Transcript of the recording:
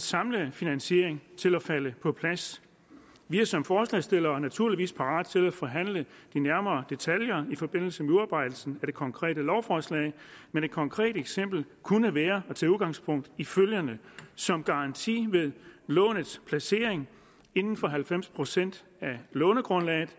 samlede finansiering til at falde på plads vi er som forslagsstillere naturligvis parate til at forhandle de nærmere detaljer i forbindelse med udarbejdelsen af det konkrete lovforslag men et konkret eksempel kunne være at tage udgangspunkt i følgende som garanti ved lånets placering inden for halvfems procent af lånegrundlaget